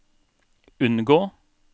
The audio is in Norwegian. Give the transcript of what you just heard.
unngå